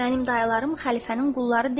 Mənim dayılarım xəlifənin qulları deyil.